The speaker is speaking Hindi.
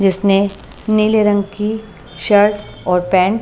जिसने नीले रंग की शर्ट और पैंट।